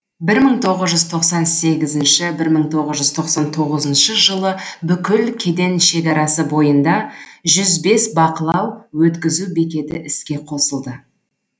бір мың тоғыз тоқсан сегізінші бір мың тоғыз жүз тоқсан тоғызыншы жылы бүкіл кеден шекарасы бойында жүз бес бақылау өткізу бекеті іске қосылды